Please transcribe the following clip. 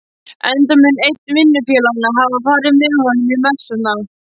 enda mun einn vinnufélaganna hafa farið með honum í messuna.